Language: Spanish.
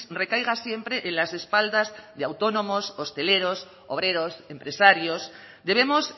recaiga siempre en las espaldas de autónomos hosteleros obreros empresarios debemos